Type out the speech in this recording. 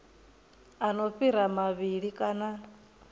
a no fhira mavhili kana